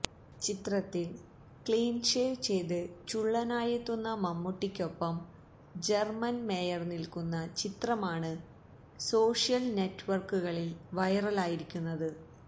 ചിത്രത്തില് clean shave ചെയ്ത് ചുള്ളനായെത്തുന്ന മമ്മൂട്ടിയ്ക്കൊപ്പം ജര്മന് മേയര് നില്ക്കുന്ന ചിത്രമാണ് സോഷ്യല് നെറ്റ്വര്ക്കുകളില് വൈറലായിരിക്കുന്നത്